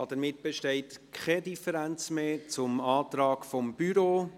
Somit besteht keine Differenz mehr gegenüber dem Antrag des Büros.